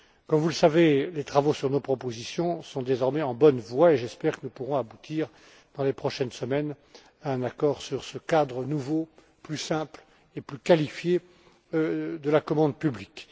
Comme vous le savez, les travaux sur nos propositions sont désormais en bonne voie et j'espère que nous pourrons aboutir, dans les prochaines semaines, à un accord sur ce cadre nouveau, plus simple et plus qualifié de la commande publique.